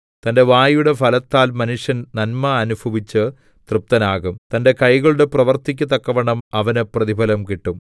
തന്റെ വായുടെ ഫലത്താൽ മനുഷ്യൻ നന്മ അനുഭവിച്ച് തൃപ്തനാകും തന്റെ കൈകളുടെ പ്രവൃത്തിക്കു തക്കവണ്ണം അവന് പ്രതിഫലം കിട്ടും